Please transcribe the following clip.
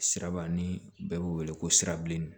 Siraba ni bɛɛ bɛ wele ko sirabilenni